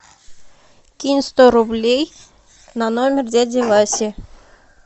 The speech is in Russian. кинь сто рублей на номер дяди васи